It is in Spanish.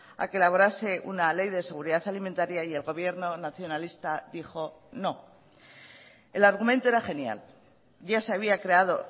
a que elaborase una ley de seguridad alimentaria y el gobierno nacionalista dijo no el argumento era genial ya se había creado